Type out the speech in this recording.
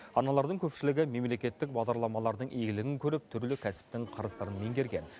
аналардың көпшілігі мемлекеттік бағдарламалардың игілігін көріп түрлі кәсіптің қыр сырын меңгерген